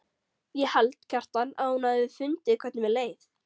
Ég held, Kjartan, að hún hafi fundið hvernig mér leið.